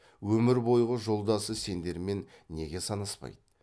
өмір бойғы жолдасы сендермен неге санаспайды